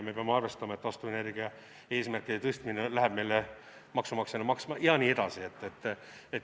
Me peame arvestama, et taastuvenergia eesmärkide tõstmine läheb meile maksumaksjana maksma jne.